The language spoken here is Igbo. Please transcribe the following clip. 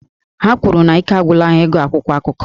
Ha kwuru na ike agwụla ha ịgụ akwụkwọ akụkọ